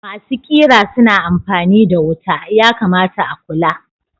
Masu ƙera suna amfani da wuta, yakamata a kula.